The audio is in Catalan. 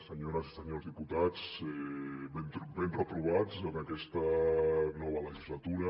senyores i senyors diputats ben retrobats en aquesta nova legislatura